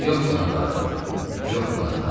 Yox buna taqətim, yox buna tabım.